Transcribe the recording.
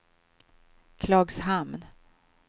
Klagshamn